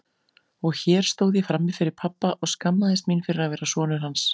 Og hér stóð ég frammi fyrir pabba og skammaðist mín fyrir að vera sonur hans.